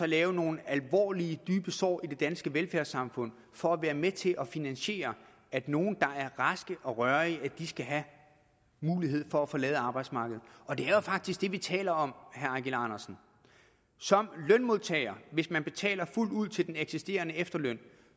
lave nogle alvorlige dybe sår i det danske velfærdssamfund for at være med til at finansiere at nogle der er raske og rørige skal have mulighed for at forlade arbejdsmarkedet og det er jo faktisk det vi taler om herre eigil andersen som lønmodtager hvis man betaler fuldt ud til den eksisterende efterløn